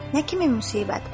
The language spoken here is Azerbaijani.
Nə kimi müsibət?